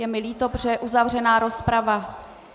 Je mi líto, protože je uzavřená rozprava.